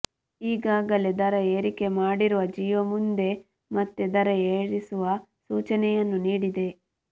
ಈಗಾಗಲೇ ದರ ಏರಿಕೆ ಮಾಡಿರುವ ಜಿಯೋ ಮುಂದೆ ಮತ್ತೆ ದರ ಏರಿಸುವ ಸೂಚನೆಯನ್ನು ನೀಡಿದೆ